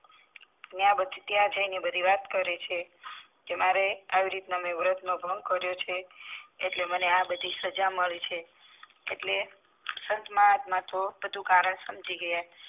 ત્યાં જાય ને બધી વાત કરે છે કે મારે આવી રીતના મેં વર્ત નો ભંગ કરીયો છે એટલે મને આ બધી સજા મળે છે એટલે સંતમહાત્મા તો બધું કારણ સમજી ગયા.